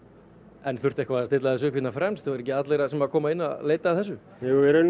en þurfti eitthvað að stilla þessu upp hérna fremst eru ekki allir sem koma inn að leita að þessu jú í rauninni